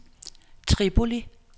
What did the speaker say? Tripoli